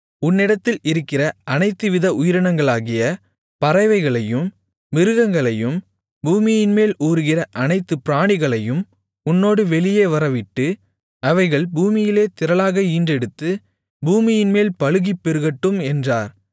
உன்னிடத்தில் இருக்கிற அனைத்துவித உயிரினங்களாகிய பறவைகளையும் மிருகங்களையும் பூமியின்மேல் ஊருகிற அனைத்து பிராணிகளையும் உன்னோடு வெளியே வரவிடு அவைகள் பூமியிலே திரளாக ஈன்றெடுத்து பூமியின்மேல் பலுகிப் பெருகட்டும் என்றார்